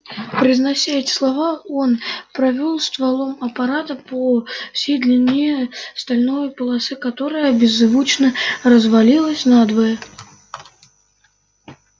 произнося эти слова он провёл стволом аппарата по всей длине стальной полосы которая беззвучно развалилась надвое